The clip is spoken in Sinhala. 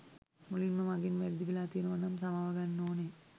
මුලින්ම මගෙන් වැරදි වෙලා තියෙනවා නම් සමාව ගන්න ඕනේ.